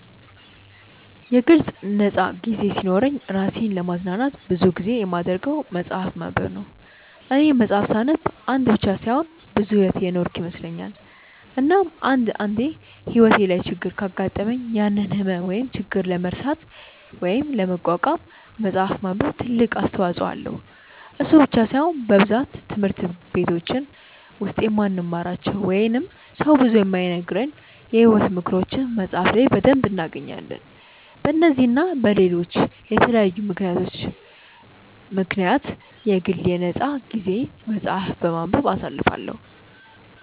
የግል ነፃ ጊዜ ሲኖረኝ እራሴን ለማዝናናት ብዙ ጊዜ የማደርገው መፅሐፍ ማንበብ ነው፦ እኔ መፅሐፍ ሳነብ አንድ ብቻ ሳይሆን ብዙ ሕይወት የኖርኩ ይመስለኛል፤ እናም አንድ አንዴ ሕይወቴ ላይ ችግር ካጋጠመኝ ያንን ህመም ወይም ችግር ለመርሳት ወይም ለመቋቋም መፅሐፍ ማንበብ ትልቅ አስተዋጽኦ አለው፤ እሱ ብቻ ሳይሆን በብዛት ትምህርት በቲች ውስጥ የማንማራቸው ወይንም ሰው ብዙ የማይነግረንን የሕይወት ምክሮችን መፅሐፍ ላይ በደንብ እናገኛለን፤ በነዚህ እና በለሎች በተለያዩ ምክንያቶች ምክንያት የግል የ ነፃ ጊዜየን መፅሐፍ በማንበብ አሳልፈዋለው።